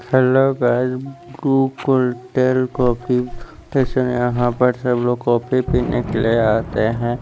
Hello guys Bru cold tale coffee यहाँ पर सब लोग कॉफ़ी पीने के लिए आते हैं।